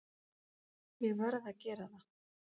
Ég verð að gera það.